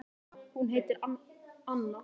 Hún heitir Hanna.